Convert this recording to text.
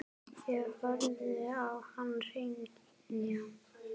Ég horfði á hann hrynja.